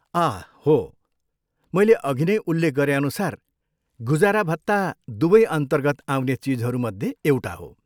आह हो, मैले अघि नै उल्लेख गरेअनुसार, गुजारा भत्ता दुवै अन्तर्गत आउने चिजहरूमध्ये एउटा हो।